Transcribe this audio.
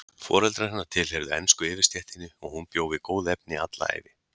Foreldrar hennar tilheyrðu ensku yfirstéttinni og hún bjó við góð efni alla ævi.